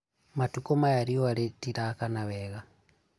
matukũ maya riũa rĩtirakana wega